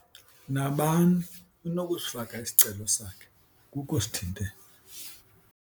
Nabani unokusifaka isicelo sakhe, akukho sithintelo.